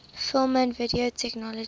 film and video technology